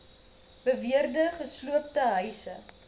beweerde gesloopte huise